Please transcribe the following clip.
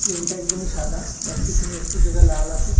প্লেনটা একদমই সাদা বাট পিছনে একটু জায়গা লাল আসে।